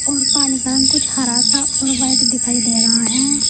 और पानी का रंग कुछ हरा सा और व्हाइट दिखाई दे रहा है।